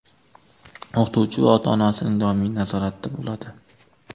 O‘qituvchi va ota-onasining doimiy nazoratida bo‘ladi.